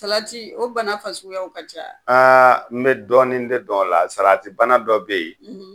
Salati o bana fasuguyaw ka ca wa? Aa n bɛ dɔɔnin de dɔn a la salati bana dɔ bɛ yen;